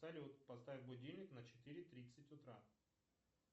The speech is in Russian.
салют поставь будильник на четыре тридцать утра